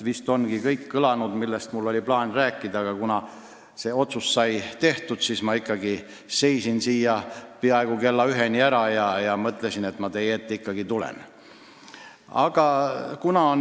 Vist on juba kõik kõlanud, millest mul oli plaanis rääkida, aga kuna otsus sai tehtud, siis ma ikkagi olin siin peaaegu kella üheni ära ja mõtlesin, et ma ikkagi tulen teie ette.